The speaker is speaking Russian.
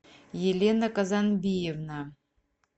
елена казанбиевна